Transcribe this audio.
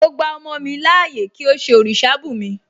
Mo gba ọmọ mi láàyè kí ó ṣe òrìṣà bùnmi